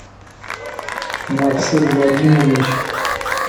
марсель владимирович